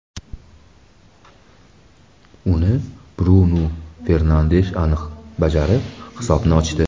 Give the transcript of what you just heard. Uni Brunu Fernandesh aniq bajarib, hisobni ochdi.